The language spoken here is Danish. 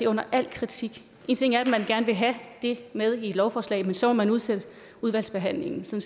under al kritik én ting er at man gerne vil have det med i et lovforslag men så må man udsætte udvalgsbehandlingen så